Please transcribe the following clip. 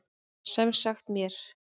Sem sagt mér.